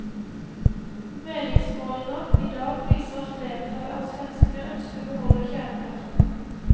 Meningsmålinger i dag viser at flertallet av svenskene ønsker å beholde kjernekraften.